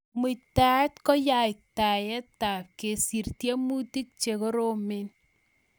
Muitaet ko yateiywotap kesir tiemutik che koromen